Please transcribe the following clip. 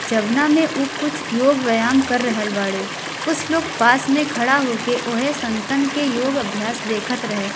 जउना मे उ कुछ योग व्यायाम कर रहल बाड़े कुछ लोग पास में खड़ा होके ओहे सन्तन के योग अभ्यास देखत रहे।